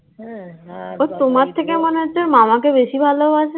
ও তোমার থেকে মনে হচ্ছে মামাকে বেশি ভালোবাসে?